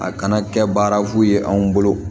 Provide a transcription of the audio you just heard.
A kana kɛ baara fu ye anw bolo